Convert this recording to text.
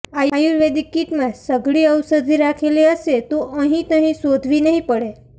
આયુર્વેદિક કિટમાં સઘળી ઔષધિ રાખેલી હશે તો અહીંતહીં શોધવી નહીં પડે